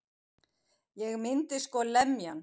Ég myndi sko lemja hann.